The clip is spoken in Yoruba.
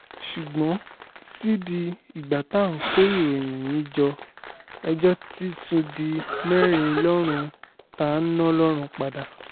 ṣùgbọ́n títí di ìgbà tá à ń kó ìròyìn yìí jọ ẹjọ́ ti tún di mẹ́rin lọ́rùn ta-ni-ọlọ́run padà